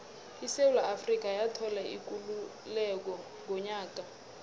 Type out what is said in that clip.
isewula afrika yathola ikululeko ngonyaka ka